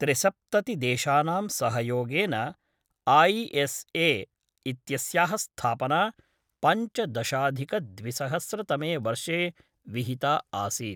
त्रिसप्ततिदेशानां सहयोगेन आईएसए इत्यस्याः स्थापना पञ्चदशाधिकद्विसहस्रतमे वर्षे विहिता आसीत्।